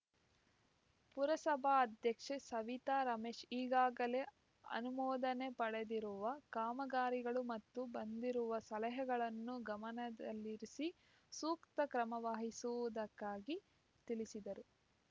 ಪುರಸಭಾಧ್ಯಕ್ಷೆ ಸವಿತಾ ರಮೇಶ್‌ ಈಗಾಗಲೇ ಅನುಮೋದನೆ ಪಡೆದಿರುವ ಕಾಮಗಾರಿಗಳು ಮತ್ತು ಬಂದಿರುವ ಸಲಹೆಗಳನ್ನು ಗಮನದಲ್ಲಿರಿಸಿ ಸೂಕ್ತ ಕ್ರಮವಹಿಸುವುದಾಗಿ ತಿಳಿಸಿದರು